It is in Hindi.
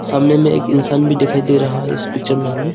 आमने में एक इंसान भी दिखाई दे रहा है इस पिक्चर में हमें।